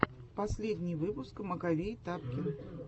последний выпуск маковей тапкин